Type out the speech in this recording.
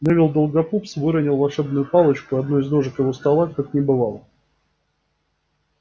невилл долгопупс выронил волшебную палочку и одной из ножек его стола как не бывало